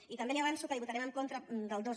i també li avanço que votarem en contra del dos